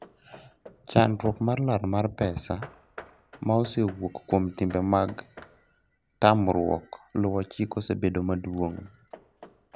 chandruok mar lal mar pesa ma osewuok kuom timbe magtamruok luwo chik osebedo maduong'